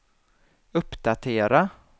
uppdatera